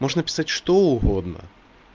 нужно писать что угодно